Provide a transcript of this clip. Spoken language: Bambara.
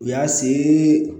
U y'a see